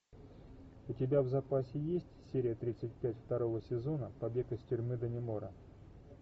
у тебя в запасе есть серия тридцать пять второго сезона побег из тюрьмы даннемора